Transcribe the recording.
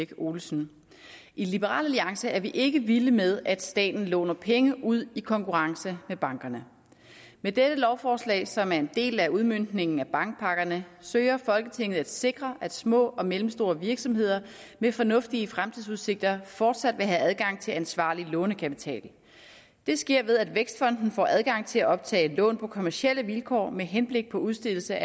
olesen i liberal alliance er vi ikke vilde med at staten låner penge ud i konkurrence med bankerne med dette lovforslag som er en del af udmøntningen af bankpakkerne søger folketinget at sikre at små og mellemstore virksomheder med fornuftige fremtidsudsigter fortsat vil have adgang til ansvarlig lånekapital det sker ved at vækstfonden får adgang til at optage lån på kommercielle vilkår med henblik på udstedelse